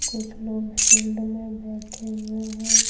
कुछ लोग फील्ड में बैठे हुए हैं।